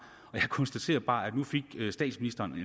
og jeg konstaterer bare at nu fik statsministeren